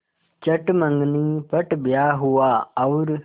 चट मँगनी पट ब्याह हुआ और